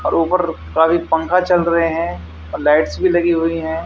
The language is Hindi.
और ऊपर काफी पंखा चल रहे हैं और लाइटस भी लगी हुई हैं।